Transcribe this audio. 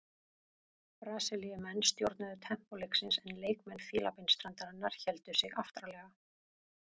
Brasilíumenn stjórnuðu tempó leiksins en leikmenn Fílabeinsstrandarinnar héldu sig aftarlega.